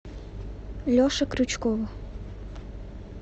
леше крючкову